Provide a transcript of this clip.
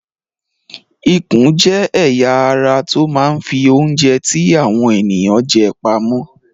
Ikùn jẹ́ ẹ̀ya ara tó máa ń fi oúnjẹ tí àwọn ènìyàn jẹ pamọ́.